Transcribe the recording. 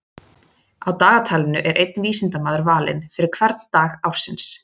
Á dagatalinu er einn vísindamaður valinn fyrir hvern dag ársins.